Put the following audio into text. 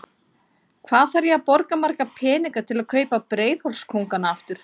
Hvað þarf ég að borga marga peninga til að kaupa Breiðholts kóngana aftur?